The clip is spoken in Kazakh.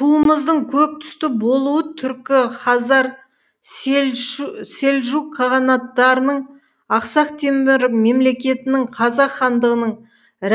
туымыздың көк түсті болуы түркі хазар селжүк қағанаттарының ақсақ темір мемлекетінің қазақ хандығының